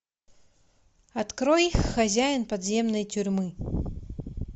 открой хозяин подземной тюрьмы